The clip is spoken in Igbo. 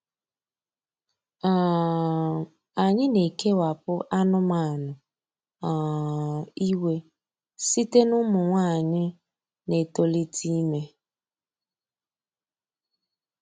um Anyị na-ekewapụ anụmanụ um iwe site n’ụmụ nwanyị na-etolite ime.